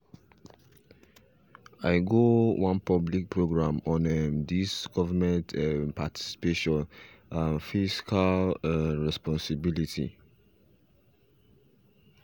i go wan public program on um this government um participation and fiscal um responsibility